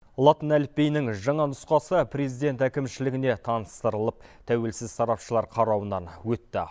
латын әліпбиінің жаңа нұсқасы президент әкімшілігіне таныстырылып тәуелсіз сарапшылар қарауынан өтті